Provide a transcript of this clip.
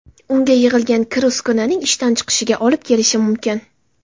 Unga yig‘ilgan kir uskunaning ishdan chiqishiga olib kelishi mumkin.